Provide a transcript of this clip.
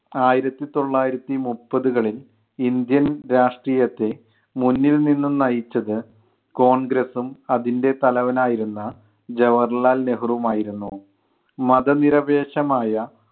ആയിരത്തിത്തൊള്ളായിരത്തി മുപ്പതുകളിൽ ഇന്ത്യൻ രാഷ്ട്രീയത്തെ മുന്നിൽ നിന്നും നയിച്ചത് കോൺഗ്രസ്സും അതിൻ്റെ തലവൻ ആയിരുന്ന ജവാഹർലാൽ നെഹ്രുവും ആയിരുന്നു. മതനിരപേക്ഷമായ